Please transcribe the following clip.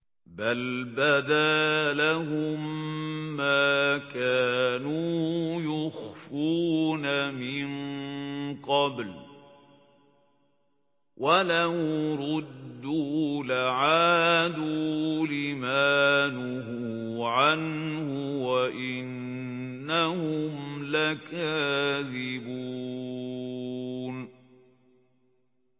بَلْ بَدَا لَهُم مَّا كَانُوا يُخْفُونَ مِن قَبْلُ ۖ وَلَوْ رُدُّوا لَعَادُوا لِمَا نُهُوا عَنْهُ وَإِنَّهُمْ لَكَاذِبُونَ